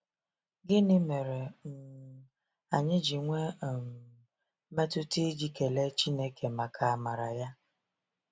Gịnị mere um anyị ji nwee um mmetụta iji kelee Chineke maka amara ya?